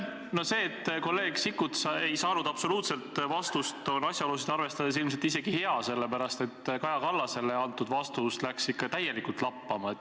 No see, et kolleeg Sikkut ei saanud absoluutselt vastust, on asjaolusid arvestades ilmselt isegi hea, sellepärast et Kaja Kallasele antud vastus läks ikka täielikult lappama.